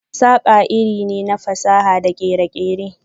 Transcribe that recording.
saƙa iri ne na fasaha da kere-kere.